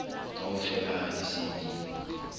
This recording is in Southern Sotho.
kaofela ha di se di